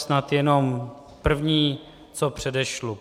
Snad jenom první, co předešlu.